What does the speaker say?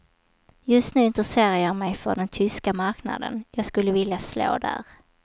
Just nu intresserar jag mig för den tyska marknaden, jag skulle vilja slå där.